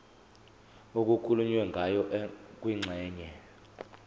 okukhulunywe ngayo kwingxenye